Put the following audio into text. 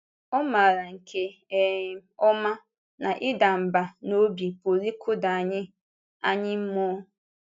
Ọ maara nke um ọma na ịdà mbà n’obi pụrụ ịkụda anyị anyị mmụọ.